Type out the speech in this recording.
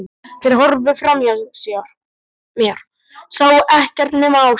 Þeir horfðu framhjá mér, sáu ekkert nema Áslaugu.